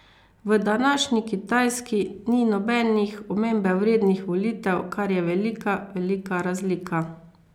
V današnji Kitajski ni nobenih omembe vrednih volitev, kar je velika, velika razlika.